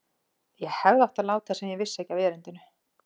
Ég hefði átt að láta sem ég vissi ekki af erindinu.